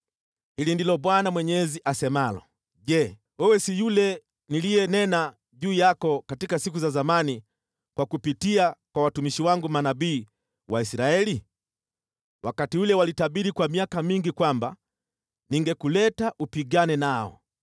“ ‘Hili ndilo Bwana Mwenyezi asemalo: Je, wewe si yule niliyenena juu yako katika siku za zamani kwa kupitia kwa watumishi wangu manabii wa Israeli? Wakati ule walitabiri kwa miaka mingi kwamba ningekuleta upigane nao.